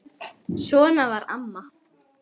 Svona var amma.